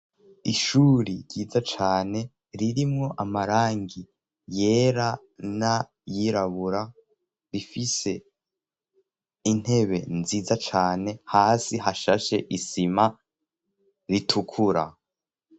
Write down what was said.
Ishuri ryiza cane ririmwo amarangi yera nayirabura rifise intebe nziza cane hasi hashashe isima ritukura.